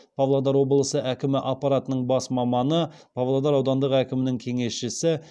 павлодар облысы әкімі аппаратының бас маманы павлодар аудандық әкімінің кеңесшісі